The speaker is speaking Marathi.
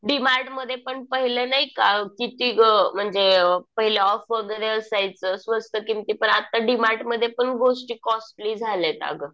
डीमार्टमध्ये पण पहिले नाही का किती गं म्हणजे पहिले ऑफ वगैरे असायचं. स्वस्त किमती. पण आता डीमार्ट मध्ये पण गोष्टी कॉस्टली झाल्यात अगं.